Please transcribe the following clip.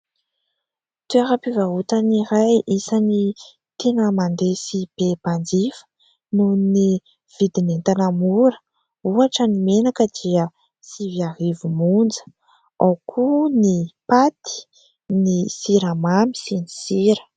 Toeram-pivarotana iray isany tena mandeha sy be mpanjifa nohon'ny vidin'entana mora, ohatra ny menaka dia sivy arivo monja, ao koa ny paty, siramamy sy ny sira.